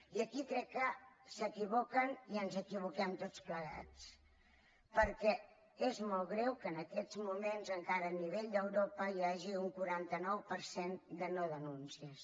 i aquí crec que s’equivoquen i ens equivoquem tots plegats perquè és molt greu que en aquests moments encara a nivell d’europa hi hagi un quaranta nou per cent de nodenúncies